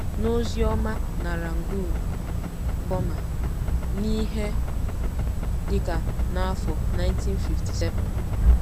N’ozi ọma na Rangoon, Bọma, n’ihe dị ka n’afọ 1957